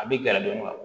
A bɛ gɛrɛndon wa